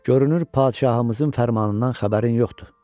görünür padşahımızın fərmanından xəbərin yoxdur.